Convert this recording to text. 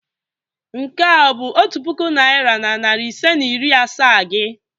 Nke a ọ bụ otu puku naịra na narị ise na iri asaa gi?